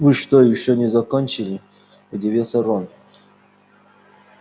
вы что ещё не закончили удивился рон